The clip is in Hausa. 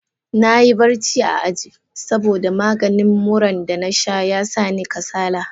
Na yi barci a aji, saboda maganin muran da na sha ya sa ni kasala.